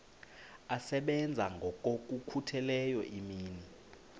asebenza ngokokhutheleyo imini